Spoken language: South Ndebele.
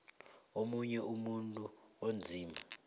omunye umuntu onzima